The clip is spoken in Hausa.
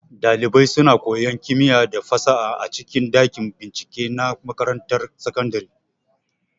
Ɗalibai suna koyan kimiya da fasaha a cikin ɗakin bincike na makarantar sakandare.